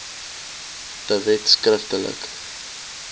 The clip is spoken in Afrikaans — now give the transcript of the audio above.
de wet skriftelik